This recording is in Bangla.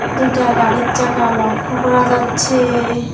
দুইটা গাড়ির চাকা লক্ষ করা যাচ্ছেএএ।